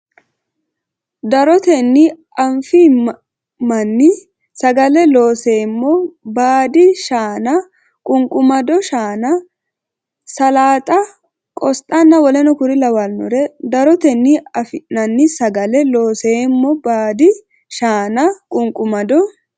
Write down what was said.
Darotenni afi nanni sagale Looseemmo baadi shaana qunqumado shaana salaaxa qosxanna w k l Darotenni afi nanni sagale Looseemmo baadi shaana qunqumado.